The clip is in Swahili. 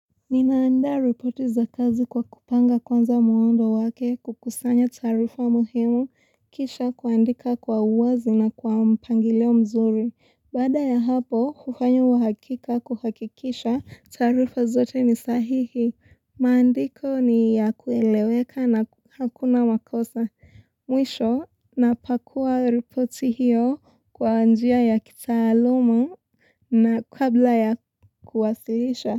Ninaanda ripoti za kazi kwa kupanga kwanza muondo wake kukusanya taarifa muhimu kisha kuandika kwa uwazi na kwa mpangileo mzuri. Bada ya hapo, kufanya uhakika kuhakikisha tarifa zote ni sahihi. Maandiko ni ya kueleweka na hakuna makosa. Mwisho, napakua ripoti hiyo kwa njia ya kitaalumu na kabla ya kuwasilisha.